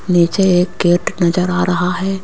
नीचे एक गेट नजर आ रहा हैं।